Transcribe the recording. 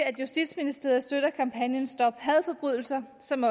at justitsministeriet støtter kampagnen stop hadforbrydelser som